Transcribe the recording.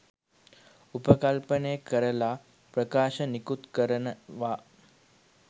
උපකල්පනය කරල ප්‍රකාශ නිකුත් කරනවා.